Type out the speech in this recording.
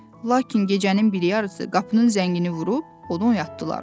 Lakin gecənin biri yarısı qapının zəngini vurub onu oyatdılar.